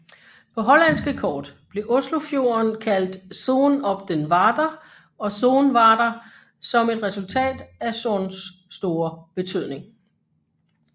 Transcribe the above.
På hollandske kort blev Oslofjorden kaldt Zoen op den Water og Soen Water som et resultat af Sons store betydning